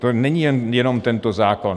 To není jen tento zákon.